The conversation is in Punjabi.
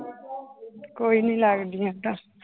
ਕੋਈ ਨੀ ਲੱਗਦੀ ਏਦਾਂ।